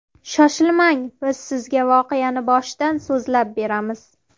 Shoshilmang, biz sizga voqeani boshidan so‘zlab beramiz.